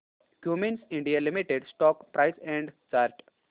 Cummins India limited stock price and chart